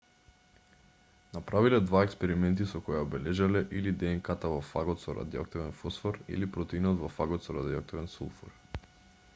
направиле два експерименти со кои ја обележале или днк-та во фагот со радиоактивен фосфор или протеинот во фагот со радиоактивен сулфур